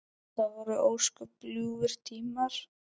Það voru ósköp ljúfir tímar.